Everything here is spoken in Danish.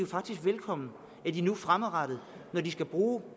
faktisk velkommen at de nu fremadrettet når de skal bruge